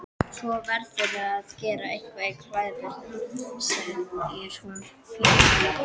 Svo verðurðu að gera eitthvað í klæðaburðinum, segir hún pinnstíf.